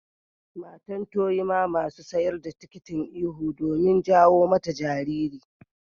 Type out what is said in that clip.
Matan to yi ma masun siyar da tikitin ihu domin jawo mata jariri.